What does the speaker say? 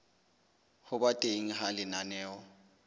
ho ba teng ha lenaneo